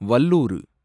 வல்லூறு